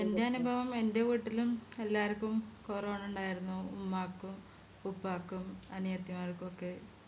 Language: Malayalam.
എൻറെ അനുഭവം എൻറെ വീട്ടിലും എല്ലാർക്കും കൊറോണ ഇണ്ടായിരുന്നു ഉമ്മാക്കും ഉപ്പാക്കും അനിയത്തിമാരിക്കൊക്കെ